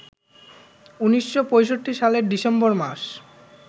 ১৯৬৫ সালের ডিসেম্বর মাস